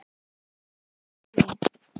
Espólín